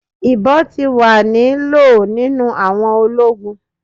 Ibon ti wa ni lo ninu awọn ologun